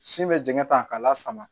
Sin bɛ jɛngɛ tan k'a la sama